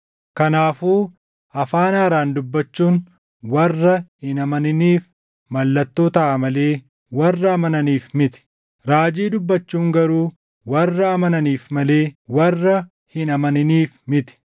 Kanaafuu afaan haaraan dubbachuun warra hin amaniniif mallattoo taʼa malee warra amananiif miti; raajii dubbachuun garuu warra amananiif malee warra hin amaniniif miti.